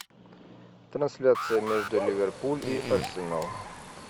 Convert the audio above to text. трансляция между ливерпуль и арсенал